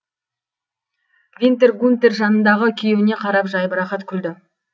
винтер гунтер жанындағы күйеуіне қарап жайбарақат күлді